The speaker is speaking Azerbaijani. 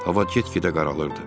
Hava get-gedə qaralırdı.